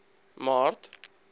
maart